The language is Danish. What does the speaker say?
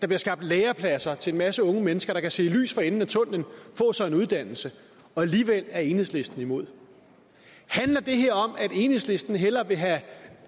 bliver skabt lærepladser til en masse unge mennesker der kan se lys for enden af tunnelen få sig en uddannelse og alligevel er enhedslisten imod handler det her om at enhedslisten hellere vil